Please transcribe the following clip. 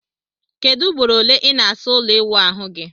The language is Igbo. Kedu ugboro ole i na asa ulo iwuahu gi?